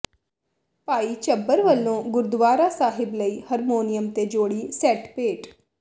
ਭਾਈ ਝੱਬਰ ਵਲੋਂ ਗੁਰਦੁਆਰਾ ਸਾਹਿਬ ਲਈ ਹਰਮੋਨੀਅਮ ਤੇ ਜੋੜੀ ਸੈੱਟ ਭੇਟ